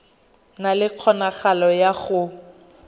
na le kgonagalo ya go